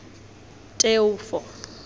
teofo